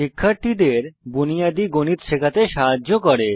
শিশুদের বুনিয়াদী গণিত শেখাতে সাহায্য করে